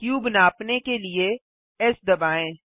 cube नापने के लिए एस दबाएँ